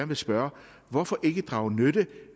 vil spørge hvorfor ikke drage nytte